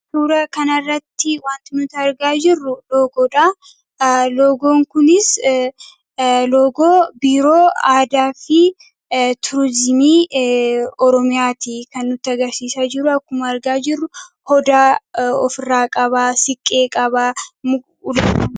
Suuraa kanarratti wanti nu argaa jirru loogoodha. Loogoon kunis loogoo biiroo aadaafi turizimii oromiyaati. Kan nutti agarsiisaa jiru, akka argaa jirru odaa ofirraa qabaa siiqqee qabaa. Muka ulee qaba.